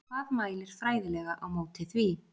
Hvað mælir fræðilega á móti því?